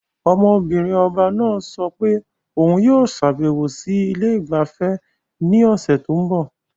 Ọmọ-binrin ọba náà sọ pé òun yóò ṣàbẹ̀wò sí ilé ìgbafẹ́ ní ọ̀sẹ̀ tó ń bọ̀.